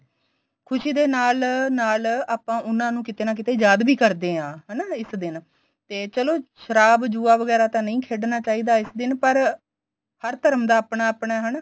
ਖੁਸ਼ੀ ਦੇ ਨਾਲ ਨਾਲ ਆਪਾਂ ਉਨ੍ਹਾਂ ਨੂੰ ਕੀਤੇ ਨਾ ਕੀਤੇ ਯਾਦ ਵੀ ਕਰਦੇ ਆ ਹਨਾ ਇਸ ਦਿਨ ਤੇ ਚਲੋ ਸ਼ਰਾਬ ਜੁਆ ਵਗੈਰਾ ਤਾਂ ਨਹੀਂ ਖੇਡਣਾ ਚਾਹੀਦਾ ਇਸ ਦਿਨ ਪਰ ਹਰ ਧਰਮ ਦਾ ਆਪਣਾ ਆਪਣਾ ਹਨਾ